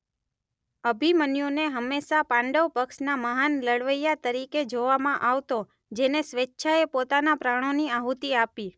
અભિમન્યુને હમેંશા પાંડવ પક્ષના મહાન લડવૈયા તરીકે જોવામાં આવતો જેને સ્વેચ્છાએ પોતાના પ્રાણોની આહુતિ આપી.